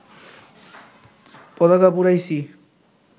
পতাকা পুড়াইছি